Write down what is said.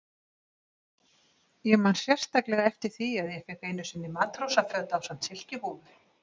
Ég man sérstaklega eftir því að ég fékk einu sinni matrósaföt ásamt silkihúfu.